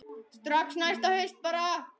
Strax næsta haust bara.